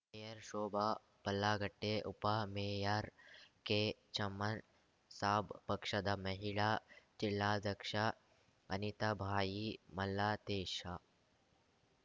mayor Shobha Pallagatte ಉಪ mayor Kechaman Sab ಪಕ್ಷದ ಮಹಿಳಾ ಜಿಲ್ಲಾಧ್ಯಕ್ಷ ಅನಿತಾಬಾಯಿ ಮಾಲ್ಲತೇಶ